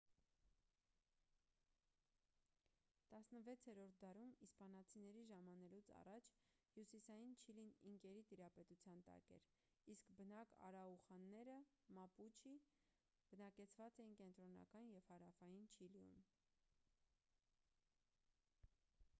16-րդ դարում՝ իսպանացիների ժամանելուց առաջ հյուսիսային չիլին ինկերի տիրապետության տակ էր իսկ բնիկ արաուախանները մապուչի բնակեցված էին կենտրոնական և հարավային չիլիում: